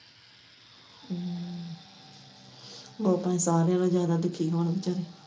ਵੋ ਭਾਏ ਸਾਰਿਆ ਨੋ ਜਿਆਦਾ ਦੁੱਖੀ ਹੋਣ ਵਿਚਾਰੇ।